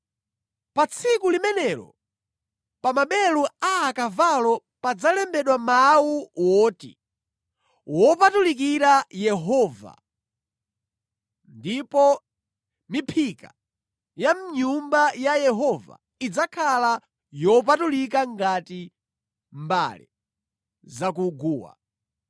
Pa tsiku limenelo pa maberu a akavalo padzalembedwa mawu oti wopatulikira Yehova , ndipo miphika ya mʼNyumba ya Yehova idzakhala yopatulika ngati mbale za ku guwa.